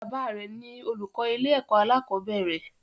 Baba rẹ ni olùkọ ilé ẹkọ alakobere.